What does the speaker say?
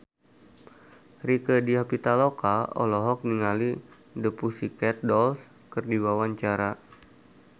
Rieke Diah Pitaloka olohok ningali The Pussycat Dolls keur diwawancara